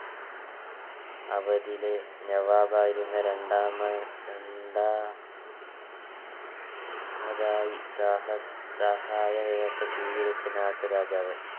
അവ തിലെ നെവാബായിരുന്ന രണ്ടാമൻ രണ്ടാ മതായി സഹ സഹായ വ്യവസ്ഥ സ്വീകരിച്ച നാട്ടുരാജാവ്